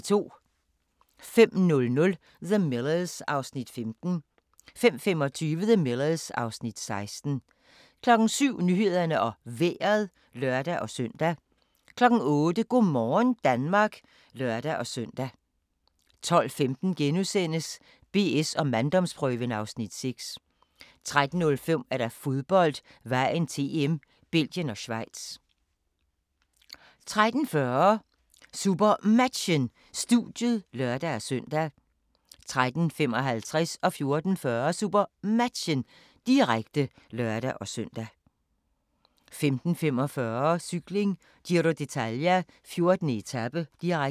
05:00: The Millers (Afs. 15) 05:25: The Millers (Afs. 16) 07:00: Nyhederne og Vejret (lør-søn) 08:00: Go' morgen Danmark (lør-søn) 12:15: BS & manddomsprøven (Afs. 6)* 13:05: Fodbold: Vejen til EM - Belgien og Schweiz 13:40: SuperMatchen: Studiet (lør-søn) 13:55: SuperMatchen, direkte (lør-søn) 14:40: SuperMatchen, direkte (lør-søn) 15:45: Cykling: Giro d'Italia - 14. etape, direkte